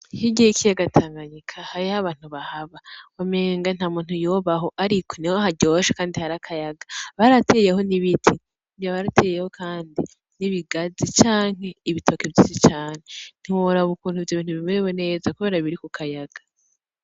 Hirya y'ikiyaga Tanganyika hariyo abantu bahaba. Umenga ntamuntu yobayo ariko niho haryoshe kandi hari akayaga. Barateyeho n'ibiti ngira barateyeho kandi n'ibigazi canke ibitoke vyinshi cane. Ntiworaba ukuntu ivyo bintu biberewe neza kubera biri ku kayaga.